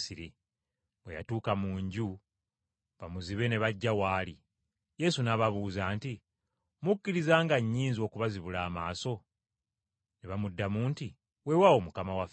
Bwe yatuuka mu nju, bamuzibe ne bajja w’ali. Yesu n’ababuuza nti, “Mukkiriza nga nnyinza okubazibula amaaso?” Ne bamuddamu nti, “Weewaawo, Mukama waffe.”